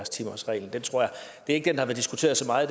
ikke